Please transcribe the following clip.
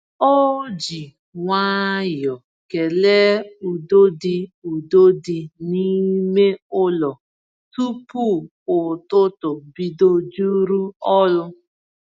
Ọ ji nwayọọ kele udo dị udo dị n’ime ụlọ tupu ụtụtụ bido juru ọrụ.